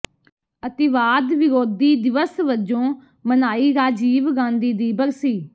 ਅਤਿਵਾਦ ਵਿਰੋਧੀ ਦਿਵਸ ਵਜੋਂ ਮਨਾਈ ਰਾਜੀਵ ਗਾਂਧੀ ਦੀ ਬਰਸੀ